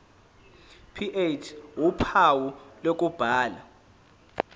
ph uphawu lokubhala